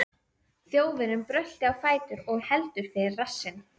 Þjófurinn bröltir á fætur og heldur fyrir rassinn.